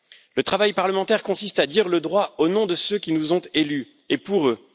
Le travail parlementaire consiste à dire le droit au nom de ceux qui nous ont élus et pour eux.